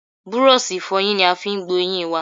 Búrọ́ṣì ìfọyín ni a fi gbo eyín i wa.